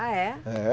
Ah, é? É